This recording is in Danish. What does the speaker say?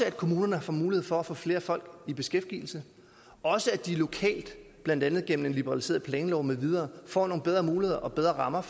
at kommunerne får mulighed for at få flere folk i beskæftigelse og at de lokalt blandt andet gennem en liberaliseret planlov med videre får nogle bedre muligheder og bedre rammer